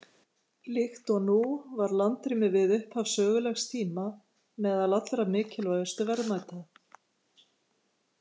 Líkt og nú var landrými við upphaf sögulegs tíma meðal allra mikilvægustu verðmæta.